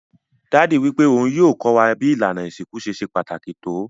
Daddy wípé oun yio ko wa bi ìlànà ìsinkú ṣe se pàtàkì to